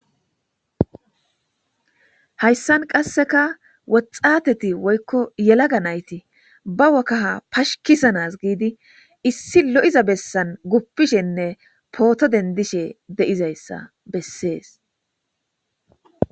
Hayssan qasseka woxxateti woykko yelaga nayti ba wokaha pashikisanas giidi issi lo7iza bessan guppishenne pooto dendishe de7izayssa bessees.